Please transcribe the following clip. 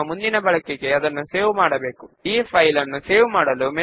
ఇప్పుడు క్వెర్రీ ను సేవ్ చేసి విండో క్లోజ్ చేద్దాము